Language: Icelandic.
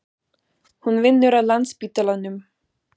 Hún vinnur á Landspítalanum.